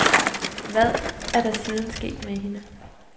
Hvad er der siden sket med hende.